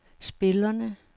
spillerne